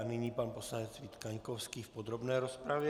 A nyní pan poslanec Vít Kaňkovský v podrobné rozpravě.